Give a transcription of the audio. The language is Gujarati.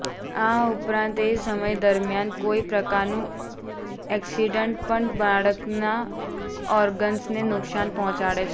આ ઉપરાંત એ સમય દરમિયાન કોઈ પ્રકારનું એક્સીડેન્ટ પણ બાળકના ઓર્ગન્સને નુકશાન પહોંચાડે છે